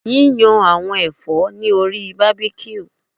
Yiyan awọn ẹfọ lori barbecue